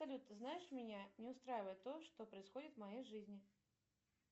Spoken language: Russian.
салют ты знаешь меня не устраивает то что происходит в моей жизни